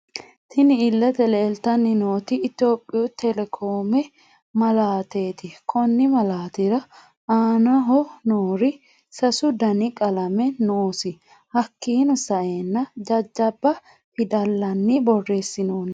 Tinni illete leelitanni nooti ittoyoopiyu telekoome malaateti konni malaatetira aanaho noori sasu Dani qalame noosi hakiino sa'eena jajjaba fidallani borreesinonni.